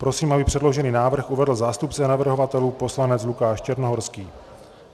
Prosím, aby předložený návrh uvedl zástupce navrhovatelů, poslanec Lukáš Černohorský.